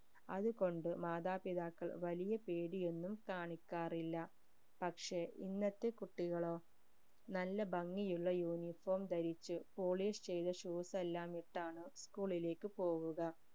അതു കൊണ്ട് മാതാപിതാക്കൾ വലിയ പേടിയൊന്നും കാണിക്കാറില്ല പക്ഷെ ഇന്നത്തെ കുട്ടികളോ നല്ല ഭംഗിയുള്ള uniform ധരിച് polish ചെയ്ത shoes എല്ലാം ഇട്ടാണ് school ലേക്ക് പോവുക